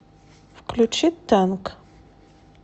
включи танк